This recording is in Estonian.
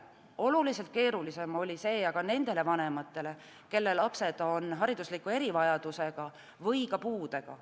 Oluliselt keerulisem oli see aga nendele vanematele, kelle lapsed on haridusliku erivajadusega või ka puudega.